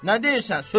Nə deyirsən?